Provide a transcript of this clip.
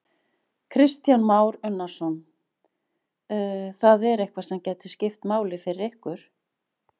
Kristján Már Unnarsson: Það er eitthvað sem gæti skipt máli hjá ykkur?